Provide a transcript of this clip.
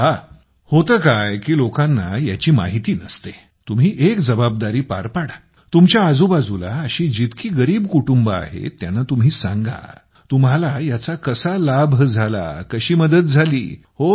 हे पहा होतं काय की लोकांना याची माहिती नसते तुम्ही एक जबाबदारी पार पाडातुमच्या आजूबाजूला अशी जितकी गरीब कुटुंबे आहेत त्यांना तुम्ही सांगातुम्हाला याचा कसा लाभ झाला कशी मदत झाली